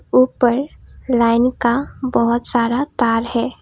ऊपर लाइन का बहोत सारा तार है।